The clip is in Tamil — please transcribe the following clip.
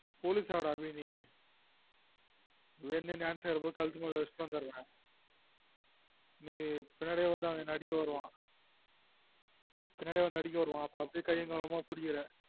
police ஆகுடா அபி நீ அவன் dance ஆடும் போது கழுத்து மேல வச்சுட்டு வந்துரன் நீ பின்னாடி வந்து அவன் என்ன அடிக்க வருவான் பின்னாடியே வந்து அடிக்க வருவான் அப்பம் அப்டீயே கையும் களவுமா புடிக்குற